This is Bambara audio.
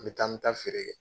N mi taa, n mi taa feere kɛ